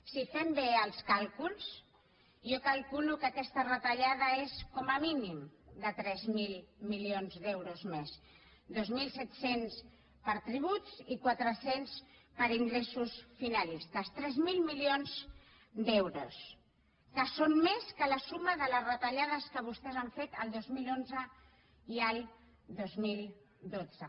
si fem bé els càlculs jo calculo que aquesta retallada és com a mínim de tres mil milions d’euros més dos mil set cents per tributs i quatre cents per ingressos finalistes tres mil milions d’euros que són més que la suma de les retallades que vostès han fet el dos mil onze i el dos mil dotze